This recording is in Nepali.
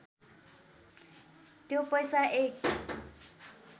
त्यो पैसा एक